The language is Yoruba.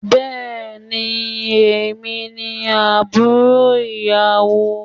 Bẹẹni, èmi ni àbúrò ìyàwó.